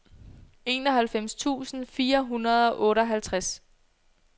enoghalvfems tusind fire hundrede og otteoghalvtreds